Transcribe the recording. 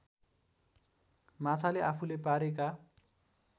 माछाले आफूले पारेका